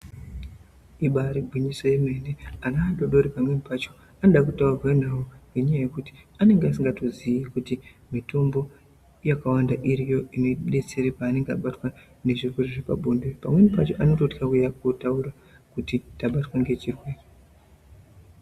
Ibari gwinyiso remene ana adodori pamweni pacho anoda kutaurwa nawk nekuti pamweni pacho anenge asingatozivi kuti mitombo yakawanda iriyo inodetsera panenge abatwa nezvirwere zvepabonde pamweni pacho anotya uyanga auya kotaura kuti tabatwa nechirwere.